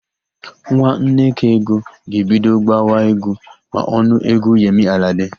Nwa Nnekaego ga-ebido gbawa égwú ma ọ nụ égwú Yemi Alade.